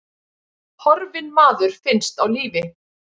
Horfinn maður finnst á lífi